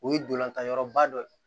O ye dolantan yɔrɔba dɔ ye